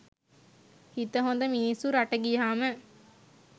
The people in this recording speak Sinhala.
හිත හොද මිනිස්සු රට ගියහම